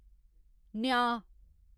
न्यांऽ